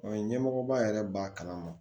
Ɔ ɲɛmɔgɔba yɛrɛ b'a kalama